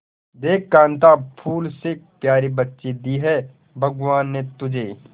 देख कांता फूल से प्यारी बच्ची दी है भगवान ने तुझे